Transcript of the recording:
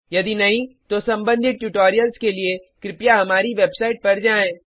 यदि नहीं तो सम्बंधित ट्यूटोरियल्स के लिए कृपया हमारी वेबसाइट पर जाएँ